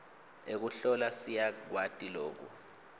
ekuhlola siyakwati loku